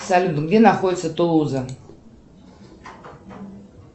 салют где находится тулуза